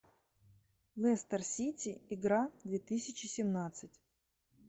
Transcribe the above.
лестер сити игра две тысячи семнадцать